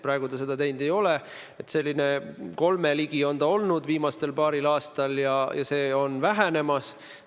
Praegu seda ei ole, kasv on viimasel paaril aastal olnud 3% ligi ja see on vähenemas.